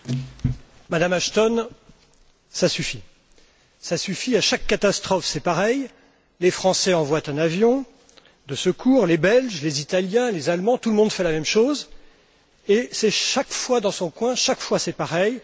Monsieur le Président, Madame Ashton, ça suffit! Ça suffit. À chaque catastrophe, c'est pareil, les Français envoient un avion, des secours, les Belges, les Italiens, les Allemands, tout le monde fait la même chose, et c'est à chaque fois chacun dans son coin, c'est à chaque fois pareil.